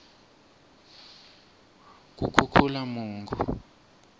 kukhukhulamungu